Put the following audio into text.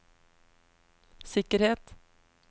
sikkerhet